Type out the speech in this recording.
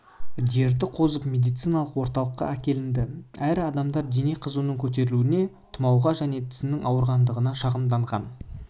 дерті қозып медициналық орталыққа әкелінді әрі адамдар дене қызуының көтерілуіне тұмауға және тісінің ауырғандығына шағымданған